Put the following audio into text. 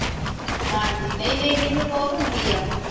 ਹਾਂਜੀ ਨਹੀਂ ਨਹੀਂ ਮੈਨੂੰ ਬਹੁਤ ਆਉਂਦੀ ਆ